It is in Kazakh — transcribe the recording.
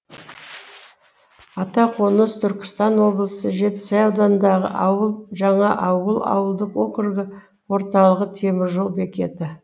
атақоныс түркістан облысы жетісай ауданындағы ауыл жаңаауыл ауылдық округі орталығы темір жол бекеті